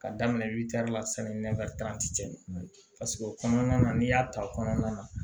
Ka daminɛ la sani o kɔnɔna na n'i y'a ta kɔnɔna na